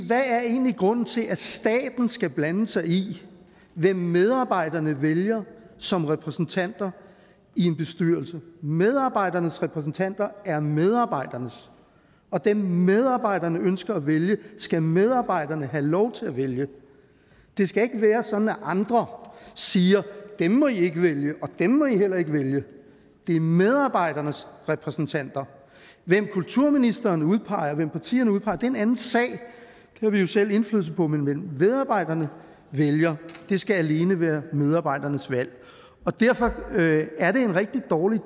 hvad er egentlig grunden til at staten skal blande sig i hvem medarbejderne vælger som repræsentanter i en bestyrelse medarbejdernes repræsentanter er medarbejdernes og dem medarbejderne ønsker at vælge skal medarbejderne have lov til at vælge det skal ikke være sådan at andre siger dem må i ikke vælge og dem må i heller ikke vælge det er medarbejdernes repræsentanter hvem kulturministeren udpeger og hvem partierne udpeger er en anden sag det har vi jo selv indflydelse på men hvem medarbejderne vælger skal alene være medarbejdernes valg derfor er det en rigtig dårlig